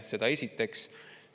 Seda esiteks.